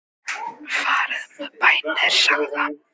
Farið með bænir sagði hann.